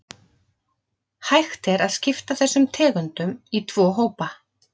Hægt er að skipta þessum tegundum í tvo hópa.